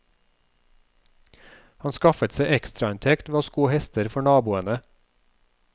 Han skaffet seg ekstrainntekt ved å sko hester for naboene.